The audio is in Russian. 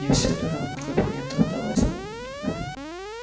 не все ли равно как мне это удалось